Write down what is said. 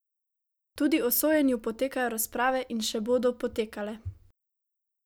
Tudi o sojenju potekajo razprave in še bodo potekale.